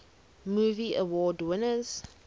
movie award winners